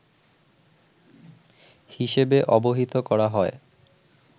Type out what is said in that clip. হিসেবে অবহিত করা হয়